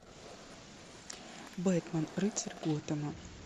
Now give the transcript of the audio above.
бэтмен рыцарь готэма